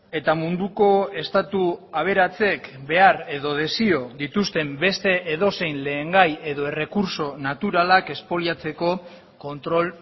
eta munduko estatu aberatsek behar edo desio dituzten beste edozein lehengai edo errekurtso naturalak espoliatzeko kontrol